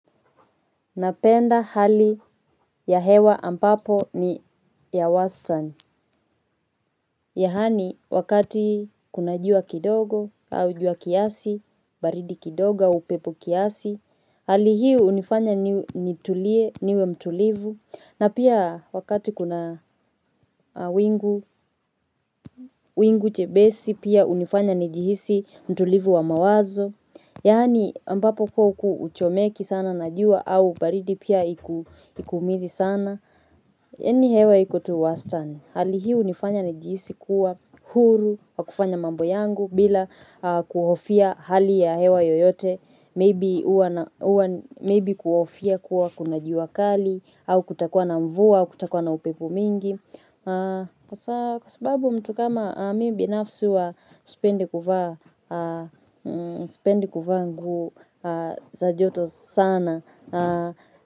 Napenda hali ya hewa ampapo ni ya wastan yaani, wakati kuna jua kidogo, au jua kiasi, baridi kidogo au upepo kiasi, hali hiu hunifanya nitulie, niwe mtulivu, na pia wakati kuna wingu, wingu jepesi, pia hunifanya nijihisi mtulivu wa mawazo. Yaani, ampapo kuw huchomeki sana, na jua, au baridi pia haikuumizi sana. Yaani hewa iko tu wastani? Hali hii hunifanya nijisi kuwa huru wa kufanya mambo yangu bila kuhofia hali ya hewa yoyote. Maybe kuhofia kuwa kuna jua kali au kutakuwa na mvua au kutakuwa na upepo mingi. Kwa sababu mtu kama mimi binafsi huwa sipendi kuvaa nguo za joto sana.